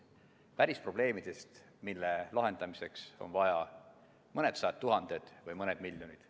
Päris probleemidest, mille lahendamiseks on vaja mõned sajad tuhanded või mõned miljonid.